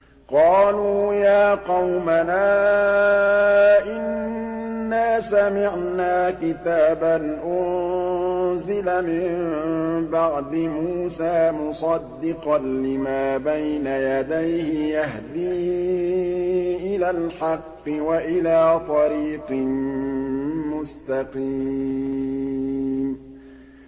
قَالُوا يَا قَوْمَنَا إِنَّا سَمِعْنَا كِتَابًا أُنزِلَ مِن بَعْدِ مُوسَىٰ مُصَدِّقًا لِّمَا بَيْنَ يَدَيْهِ يَهْدِي إِلَى الْحَقِّ وَإِلَىٰ طَرِيقٍ مُّسْتَقِيمٍ